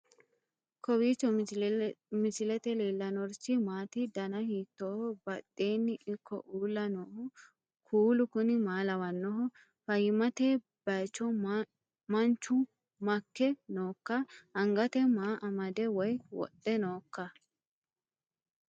kowiicho misilete leellanorichi maati ? dana hiittooho ?badhhenni ikko uulla noohu kuulu kuni maa lawannoho? fayyimmate bacho manchu maikke nooikka angate maa amade woy wodhe noohoikka